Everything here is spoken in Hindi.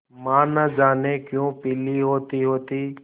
माँ न जाने क्यों पीली होतीहोती